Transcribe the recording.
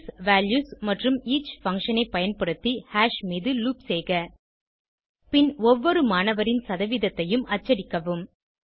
keys values மற்றும் each function ஐ பயன்படுத்தி ஹாஷ் மீது லூப் செய்க பின் ஒவ்வொரு மாணவரின் சதவீதத்தையும் அச்சடிக்கவும்